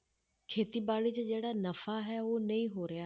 ਖੇਤੀਬਾੜੀ 'ਚ ਜਿਹੜਾ ਨਫ਼ਾ ਹੈ ਉਹ ਨਹੀਂ ਹੋ ਰਿਹਾ।